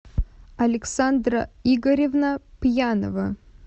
александра игоревна пьянова